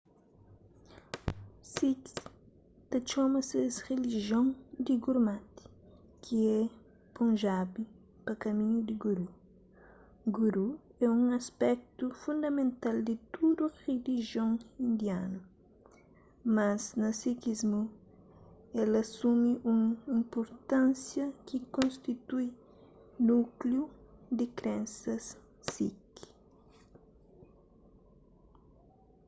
sikhs ta txoma ses rilijion di gurmat ki é punjabi pa kaminhu di guru guru é un aspetu fundamental di tudu rilijion indianu mas na sikhismu el asumi un inpurtánsia ki konstitui núkliu di krensas sikh